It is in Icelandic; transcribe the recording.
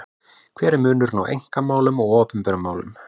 Hver er munurinn á einkamálum og opinberum málum?